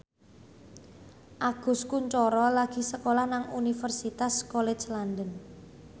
Agus Kuncoro lagi sekolah nang Universitas College London